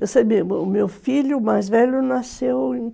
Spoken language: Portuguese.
Eu sei mesmo, o meu filho mais velho nasceu,